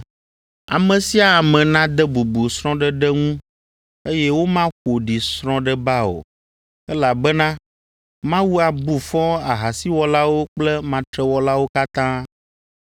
Ame sia ame nade bubu srɔ̃ɖeɖe ŋu eye womaƒo ɖi srɔ̃ɖeba o, elabena Mawu abu fɔ ahasiwɔlawo kple matrewɔlawo katã.